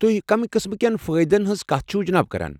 تُہۍ کمہِ قٕسمہٕ كیٚن فٲیدن ہٕنٛز کتھ چھوٕ جناب کران؟